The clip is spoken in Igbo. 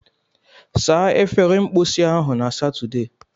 Saa efere mposi ahụ na Satọde!